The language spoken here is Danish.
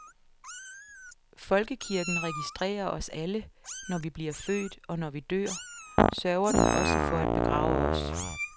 Folkekirken registrerer os alle, når vi bliver født, og når vi dør, sørger den også for at begrave os.